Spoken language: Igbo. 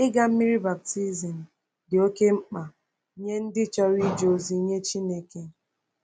Ịga mmiri baptizim dị oké mkpa nye ndị chọrọ ije ozi nye Chineke.